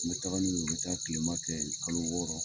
N bɛ taga n u ye n be taga kilema kɛ yen kalo wɔɔrɔ.